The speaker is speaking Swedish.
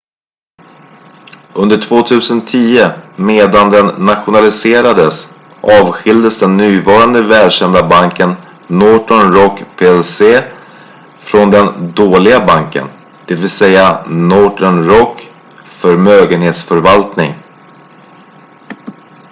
"under 2010 medan den nationaliserades avskiljdes den nuvarande välkända banken northern rock plc från "den dåliga banken" dvs. northern rock förmögenhetsförvaltning.